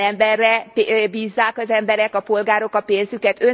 Ilyen emberre bízzák az emberek, a polgárok a pénzüket?